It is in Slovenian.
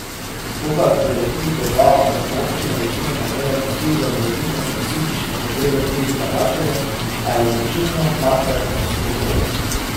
To pa je v Prlekiji težava, saj so občine večinoma imele posluh za morebitne specifične potrebe tujih vlagateljev, a je odločilno makroekonomsko okolje.